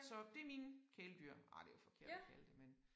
Så det mine kæledyr ah det jo forkert at kalde det men